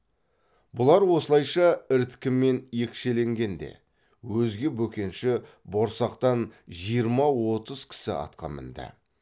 бұлар осылайша іріткімен екшелгенде өзге бөкенші борсақтан жиырма отыз кісі атқа мінді